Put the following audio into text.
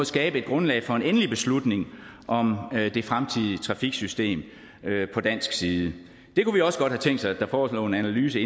skabe et grundlag for en endelig beslutning om det fremtidige trafiksystem på dansk side det kunne vi også godt have tænkt os at der forelå en analyse